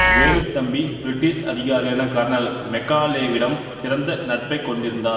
Velu Thampi British அதிகாரியான colonel மெக்காலேவிடம் சிறந்த நட்பைக் கொண்டிருந்தார்